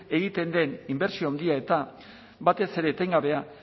egiten den inbertsio handia eta batez ere etengabea